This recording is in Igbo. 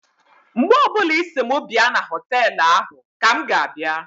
Mgbe ọbụla Ị sị m bịa na họtelụ ahụ ka m ga-abịa.